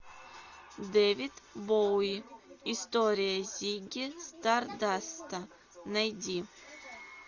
дэвид боуи история зигги стардаста найди